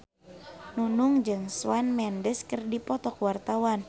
Nunung jeung Shawn Mendes keur dipoto ku wartawan